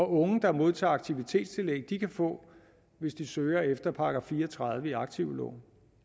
unge der modtager aktivitetstillæg kan få hvis de søger efter § fire og tredive i aktivloven